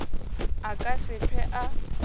a ka se hlwe a